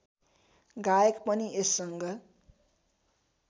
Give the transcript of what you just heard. गायक पनि यससँग